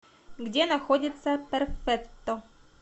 где находится перфетто